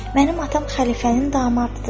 Mənim atam xəlifənin damadıdır.